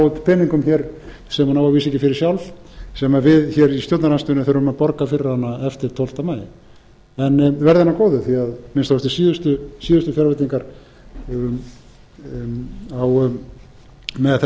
út peningum hér sem hún á að vísu ekki fyrir sjálf sem við í stjórnarandstöðunni þurfum að borga fyrir hana eftir tólfta maí en verði henni að góðu því að að minnsta kosti síðustu fjárveitingar með